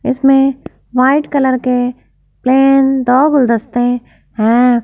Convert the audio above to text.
इसमें white colour के plain दो गुलदस्ते हैं।